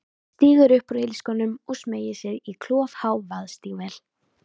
Stígur upp úr ilskónum og smeygir sér í klofhá vaðstígvél.